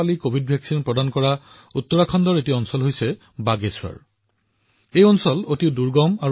বন্ধুসকল এই বাগেশ্বৰ উত্তৰাখণ্ডৰ এনে এটা অঞ্চল যিয়ে ১০০ শতাংশ প্ৰথম পালি সম্পূৰ্ণ কৰিছে